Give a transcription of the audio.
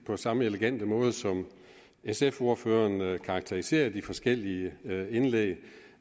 på samme elegante måde som sf ordføreren kan karakterisere de forskellige indlæg